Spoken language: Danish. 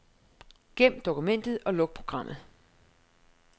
Gem dokumentet og luk programmet.